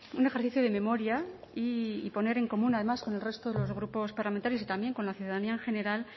un ejercicio de memoria y poner en común además con el resto de los grupos parlamentarios y también con la ciudadanía en general